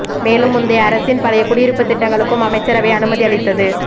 மேலும் முந்தைய அரசின் பழைய குடியிருப்பு திட்டங்களுக்கும் அமைச்சரவை அனுமதி அளித்துள்ளது